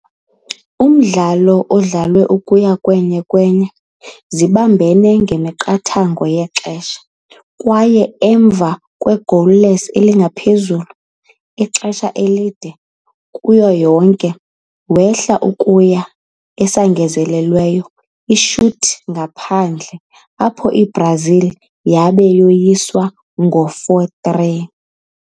Umdlalo idlalwe ukuya 1-1 zoba umqathango wama-ixesha, kwaye emva goalless ezingaphezulu ixesha, kuyo yonke, wehla ukuya esangezelelweyo shoot-ngaphandle, apho i-Brazil waba woyisa 4-3.